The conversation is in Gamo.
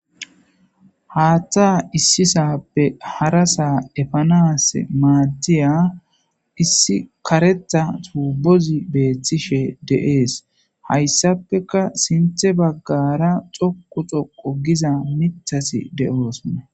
Haaththa issisape harasa epanassi maadiya issi kareththa tubbozi beetishe de'es; hayssappeka sinththe baggara xoqqu xoqqu giza miththati de'osonna.